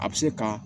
A bɛ se ka